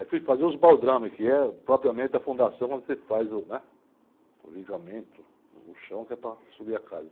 Aí fui fazer os baldrames, que é propriamente a fundação, quando você faz o, né? O ligamento no chão, que é para subir a casa.